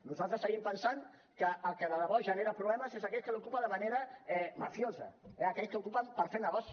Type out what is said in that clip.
nosaltres seguim pensant que el que de debò genera problemes és aquell que l’ocupa de manera mafiosa eh aquells que ocupen per fer negoci